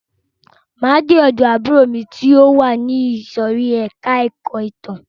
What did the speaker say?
Máa de ọ̀dọ̀ àbúrò mi ti o wà ní ìsòrí ẹka ẹ̀kọ́ ìtàn.